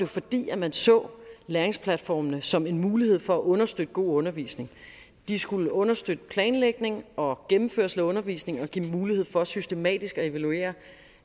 fordi man så læringsplatformene som en mulighed for at understøtte god undervisning de skulle understøtte planlægning og gennemførelse af undervisning og give mulighed for systematisk at evaluere